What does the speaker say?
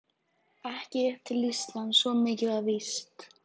Ekki upp til Íslands, svo mikið var víst.